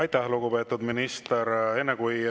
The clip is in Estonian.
Aitäh, lugupeetud minister!